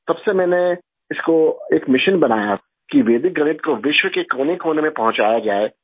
تب سے میں نے اس کو ایک مشن بنایا کہ ویدک میتھ کو دنیا کے کونے کونے میں پہنچایا جائے